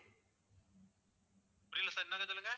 புரியல sir இன்னொரு தடவை சொல்லுங்க